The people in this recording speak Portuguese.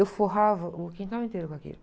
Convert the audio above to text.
Eu forrava o quintal inteiro com aquilo.